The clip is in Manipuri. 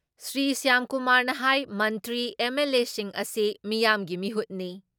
ꯁ꯭ꯔꯤ ꯁ꯭ꯌꯥꯝꯀꯨꯃꯥꯔꯅ ꯍꯥꯏ ꯃꯟꯇ꯭ꯔ ꯑꯦꯝ.ꯑꯦꯜ.ꯑꯦꯁꯤꯡ ꯑꯁꯤ ꯃꯤꯌꯥꯝꯒꯤ ꯃꯤꯍꯨꯠꯅꯤ ꯫